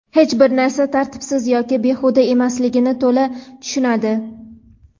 hech bir narsa tartibsiz yoki behuda emasligini to‘la tushunadi.